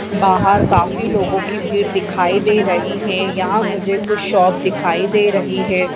बहार काफी लोगों की भीड़ दिखाई दे रही है यहाँ मुझे कुछ शॉप दिखाई दे रही है।